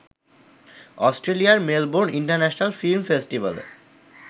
অস্ট্রেলিয়ার Melbourne international film ফেস্টিভ্যালে